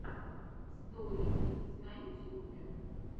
стори икс на ютьюбе